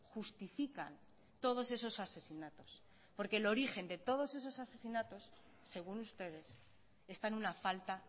justifican todos esos asesinatos porque el origen de todos esos asesinatos según ustedes está en una falta